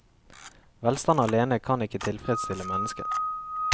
Velstand alene kan ikke tilfredsstille mennesket.